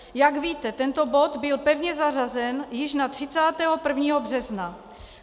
Jak víte, tento bod byl pevně zařazen již na 31. března.